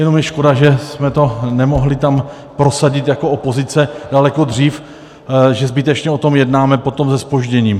Jenom je škoda, že jsme to nemohli tam prosadit jako opozice daleko dřív, že zbytečně o tom jednáme potom se zpožděním.